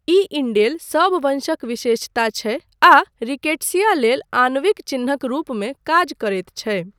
ई indel सब वंशक विशेषता छै आ रिकेट्सिया लेल आणविक चिह्नक रूपमे काज करैत छै।